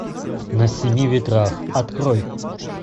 на семи ветрах открой